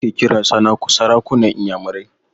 Eze ake kiran sarakunan inyamurai.